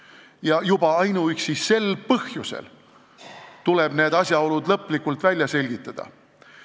Ja juba ainuüksi sel põhjusel tuleb need asjaolud lõplikult välja selgitada.